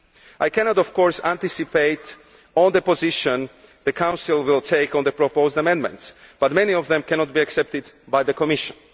I cannot of course anticipate the position the Council will take on the proposed amendments but many of them cannot be accepted by the Commission.